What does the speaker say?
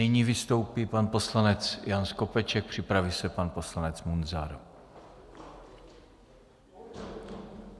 Nyní vystoupí pan poslanec Jan Skopeček, připraví se pan poslanec Munzar.